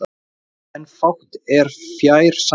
en fátt er fjær sanni